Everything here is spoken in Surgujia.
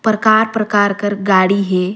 परकार-परकार कर गाड़ी हे।